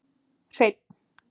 Hreinn